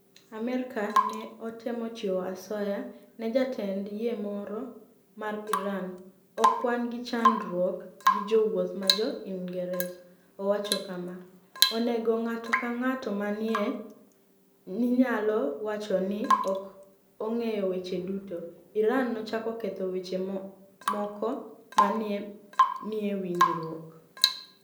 Amerka ni e otemo chiwo asoya ni e jatend yie moro mar Irani 'Ok wani gi chanidruok gi jowuoth ma jo Inigresa' Owacho kama: "Onige nig'ato anig'ata ma ni e niyalo wacho nii ok onig'eyo weche duto. Irani nochako ketho weche moko ma ni e niie winijruokno.